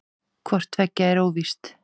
Hvort tveggja er óvíst.